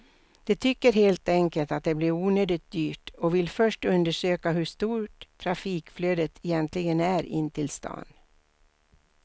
De tycker helt enkelt att det blir onödigt dyrt och vill först undersöka hur stort trafikflödet egentligen är in till stan.